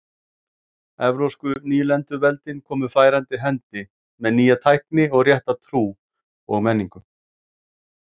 Evrópsku nýlenduveldin komu færandi hendi með nýja tækni og rétta trú og menningu.